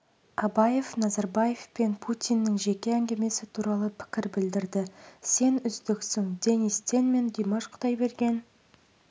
абаев назарбаев пен путиннің жеке әңгімесі туралы пікір білдірді сен үздіксің денис тен мен димаш құдайберген